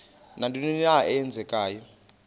nantoni na eenzekayo